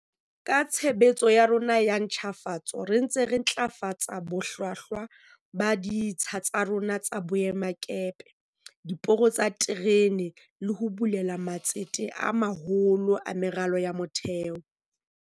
Ka tshebetso ya rona ya ntjhafatso re ntse re ntlafatsa bohlwahlwa ba ditsha tsa rona tsa boemakepe, diporo tsa diterene le ho bulela matsete a maholo a meralo ya motheo.